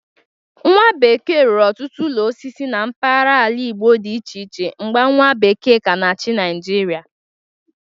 Nwabekee rụrụ ọtụtụ ụlọ osisi na mgbagara ala Igbo dị iche iche mgbe nwa bekee ka na-achị Naịjịrịa.